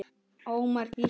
Ómar Gísli.